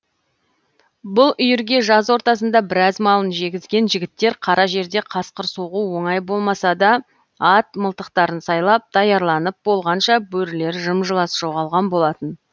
бұл үйірге жаз ортасында біраз малын жегізген жігіттер қара жерде қасқыр соғу оңай болмаса да ат мылтықтарын сайлап даярланып болғанша бөрілер жым жылас жоғалған болатын